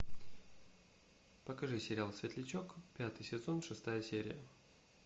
покажи сериал светлячок пятый сезон шестая серия